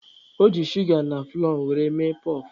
O ji shuga na fụlọọ were mee kpọf.